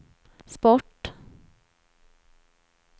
sport